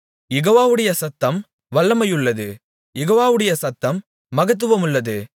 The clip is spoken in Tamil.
யெகோவாவுடைய சத்தம் வல்லமையுள்ளது யெகோவாவுடைய சத்தம் மகத்துவமுள்ளது